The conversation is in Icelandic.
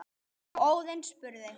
og Óðinn spurði